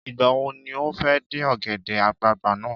Ìgbà wo ni o fẹ́ dín ọ̀gẹ̀dẹ̀ àgbagbà náà?